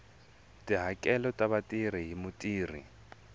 tihakelo ta vatirhi hi mutirhi